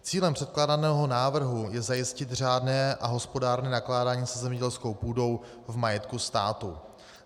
Cílem předkládaného návrhu je zajistit řádné a hospodárné nakládání se zemědělskou půdou v majetku státu.